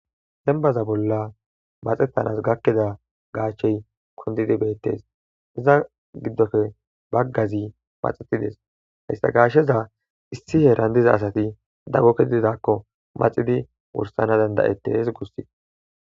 Denbaza bolla mathetans gakida gashe kundidi betes iza gidope bagazi maxetides haysa gasheza issi hera diza asati dago kezidakko maxidi danda'etes gusikko